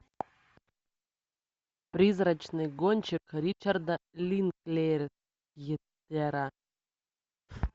призрачный гонщик ричарда линклейтера